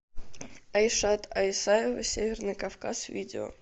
айшат айсаева северный кавказ видео